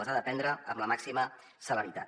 les ha de prendre amb la màxima celeritat